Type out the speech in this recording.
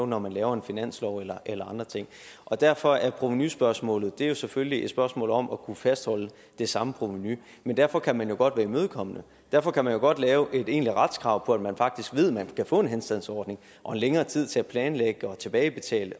når man laver en finanslov eller eller andre ting og derfor er provenuspørgsmålet selvfølgelig et spørgsmål om at kunne fastholde det samme provenu men derfor kan vi jo godt være imødekommende derfor kan vi jo godt lave et egentligt retskrav hvor man faktisk ved at man kan få en henstandsordning og længere tid til at planlægge og tilbagebetale